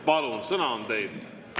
Palun, sõna on teil!